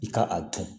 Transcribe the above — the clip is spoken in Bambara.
I ka a dun